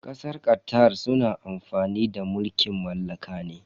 Kasar Qatar suna amfani da mulkin mallaka ne.